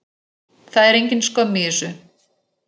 Það er engin skömm í þessu.